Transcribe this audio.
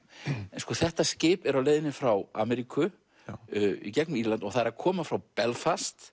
en sko þetta skip er á leiðinni frá Ameríku og það er koma frá Belfast